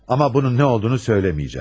Ama bunun nə olduğunu söyləməyəcəm.